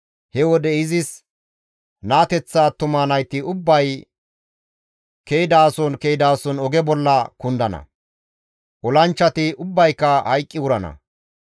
He wode izis naateththa attuma nayti ubbay ke7idason ke7idason oge bolla kundana; olanchchati ubbayka hayqqi wurana.